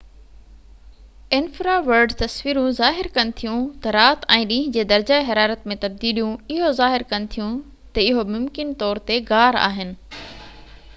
انفراورڊ تصويرون ظاهر ڪن ٿيون ته رات ۽ ڏينهن جي درجه حرارت ۾ تبديليون اهو ظاهر ڪن ٿيون ته اهو مڪمن طور تي غار آهن